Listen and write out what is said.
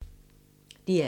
DR2